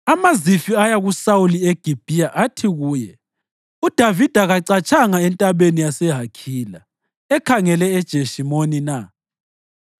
AmaZifi aya kuSawuli eGibhiya athi kuye, “UDavida kacatshanga entabeni yaseHakhila, ekhangele eJeshimoni na?”